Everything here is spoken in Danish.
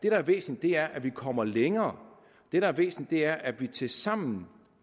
er væsentligt er at vi kommer længere og det der er væsentligt er at vi tilsammen